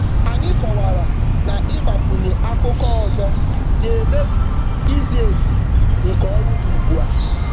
Anyị kọwara na ịgbakwunye akụkọ ọzọ akụkọ ọzọ um ga-emebi izi um ezi nke ọrụ um dị ugbu a.